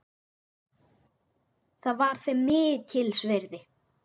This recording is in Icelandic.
Það var þeim mikils virði.